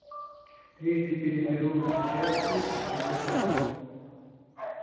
трижды переберу чётки отходя ко сну